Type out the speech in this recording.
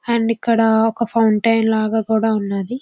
And ఇక్కడ ఒక fountain లాగా కూడా ఉన్నాది.